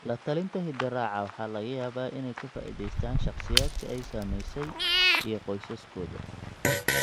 La-talinta hidde-raaca waxa laga yaabaa inay ka faa'iidaystaan ​​shakhsiyaadka ay saamaysay iyo qoysaskooda.